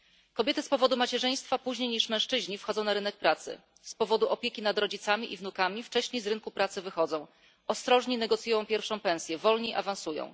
Kobiety z powodu macierzyństwa później niż mężczyźni wchodzą na rynek pracy, z powodu opieki nad rodzicami i wnukami wcześniej z rynku pracy wychodzą, ostrożniej negocjują pierwszą pensję, wolniej awansują.